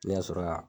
Ne ka sɔrɔ ka